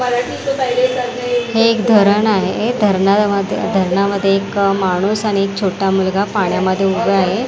हे एक धरण आहे धरणामध्ये धरणामध्ये एक माणूस आणि एक छोटा मुलगा पाण्यामध्ये उभा आहे.